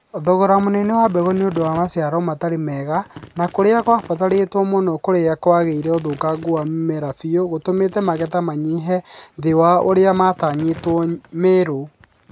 Thogora mũnene wa mbegu nĩũndũ wa maciaro matarĩ mega na kũrĩa ciabatarĩtwo mũno kũrĩa kwagĩire ũthũkangu wa mimera biũ nĩgũtũmĩte magetha manyihe thĩ wa ũrĩa matanyĩtwo Meru